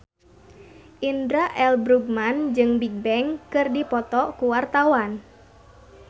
Indra L. Bruggman jeung Bigbang keur dipoto ku wartawan